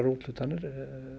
úthlutanir